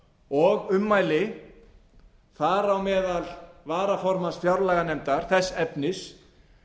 og ummæli þar á meðal varaformanns fjárlaganefndar þess efnis